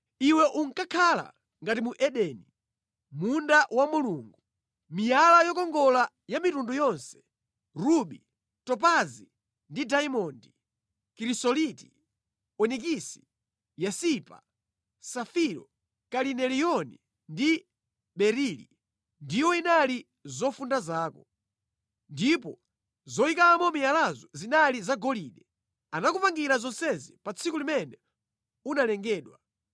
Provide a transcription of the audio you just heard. Iwe unkakhala ngati mu Edeni, munda wa Mulungu. Miyala yokongola ya mitundu yonse: rubi, topazi ndi dayimondi, kirisoliti, onikisi, yasipa, safiro, kalineliyoni ndi berili ndiwo inali zofunda zako. Ndipo zoyikamo miyalayo zinali zagolide. Anakupangira zonsezi pa tsiku limene unalengedwa.